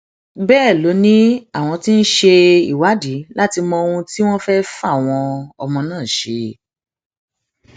bẹẹ ló ní àwọn tí ń ṣe ìwádìí láti mọ ohun tí wọn fẹẹ fáwọn ọmọ náà ṣe